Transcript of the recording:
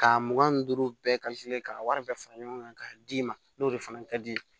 Ka mugan ni duuru bɛɛ ka wari bɛɛ fara ɲɔgɔn kan k'a d'i ma n'o de fana ka di i ye